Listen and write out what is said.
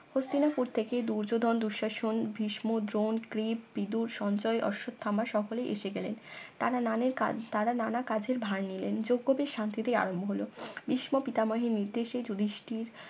হস্তিনাপুর থেকে দূর্যোধন দুঃশাসন বিষ্ণু ড্রোন ক্রিপ বিদুর সঞ্জয় অশ্বত্থামা সকলেই এসে গেলেন তারা নানের কাজ তারা নানা কাজের ভার নিলেন যোগ্যদের শান্তিতে আরম্ভ হলো ভীষ্মপিতামহের নির্দেশে যুধিষ্ঠির